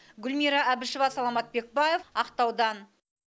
гүлмира әбішева саламат бекбаев ақтаудан